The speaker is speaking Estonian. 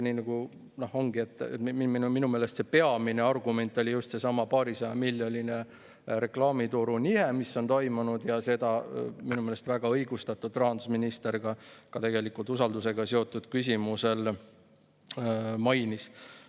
Siis minu meelest see peamine argument oli just seesama paarisajamiljoniline reklaamituru nihe, mis on toimunud, ja seda minu meelest väga õigustatult rahandusminister ka tegelikult usaldusega seotud küsimusel mainis.